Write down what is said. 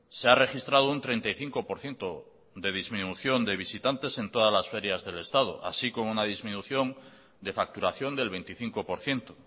se ha registrado un treinta y cinco por ciento de disminución de visitantes en todas las ferias del estado así como una disminución de facturación del veinticinco por ciento